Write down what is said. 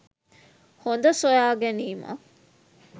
හොඳ සොයා ගැනීමක්.